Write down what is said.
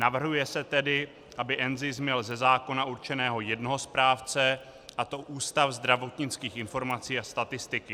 Navrhuje se tedy, aby NZIS měl ze zákona určeného jednoho správce, a to Ústav zdravotnických informací a statistiky.